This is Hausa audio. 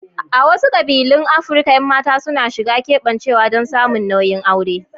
A wasu kabilun Afirka, 'yan mata suna shiga keɓancewa don samun nauyin aure.